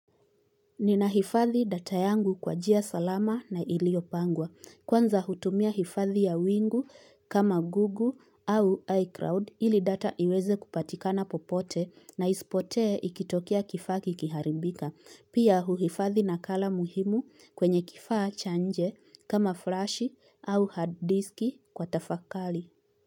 Nina hifadhi data yangu kwa jia salama na ilio pangwa. Kwanza hutumia hifadhi ya wingu kama google au iCloud ili data iweze kupatika na popote na isipotee ikitokia kifaa kikiharibika. Pia huhifadhi na kala muhimu kwenye kifaa chanje kama flashi au hard disk kwa tafakali.